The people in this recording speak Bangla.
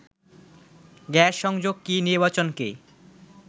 গ্যাস সংযোগ কি নির্বাচনকে